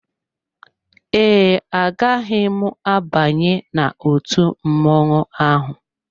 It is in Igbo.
Ee, agaghị m abanye n'otú mmọnwụ ahụ.